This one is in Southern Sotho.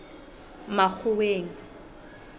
makgoweng